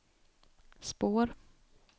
spår